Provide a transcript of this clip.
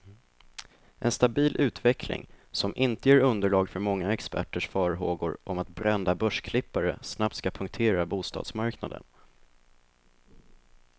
En stabil utveckling, som inte ger underlag för många experters farhågor om att brända börsklippare snabbt ska punktera bostadsmarknaden.